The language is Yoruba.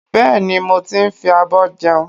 Bẹ́ẹ̀ni, mo ti ń fi abọ́ jẹun